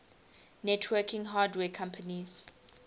networking hardware companies